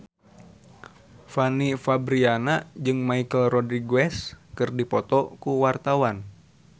Fanny Fabriana jeung Michelle Rodriguez keur dipoto ku wartawan